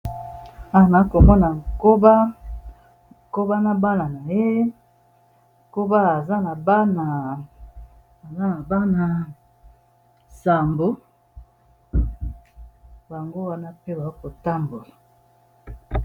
Awa nokomona koba koba na bana Naye aza na bana sambo bango wana mpe bakotambola